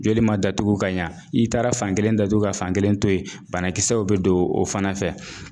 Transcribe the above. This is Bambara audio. Joli ma datugu ka ɲɛ i taara fan kelen datugu ka fan kelen to yen banakisɛw bɛ don o fana fɛ